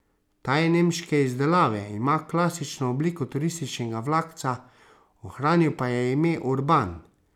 Ta je nemške izdelave, ima klasično obliko turističnega vlakca, ohranil pa je ime urban.